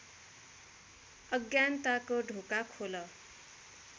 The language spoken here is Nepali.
अज्ञानताको ढोका खोल